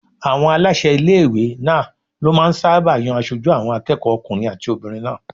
Àwọn aláṣẹ ilé-ìwé náà ló máà ń sáábà yan aṣojú àwọn akẹ́kọ̀ọ́ okùnrin àti obìnrin náà